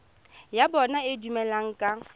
ya bona e dumelaneng ka